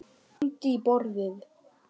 Hann lamdi í borðið.